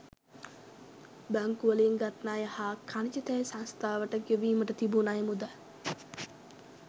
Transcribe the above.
බැංකුවලින් ගත් ණය හා ඛනිජ තෙල් සංස්ථාවට ගෙවීමට තිබූ ණය මුදල්